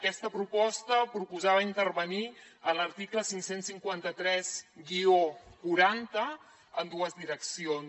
aquesta proposta proposava intervenir en l’article cinc cents i cinquanta tres quaranta en dues direccions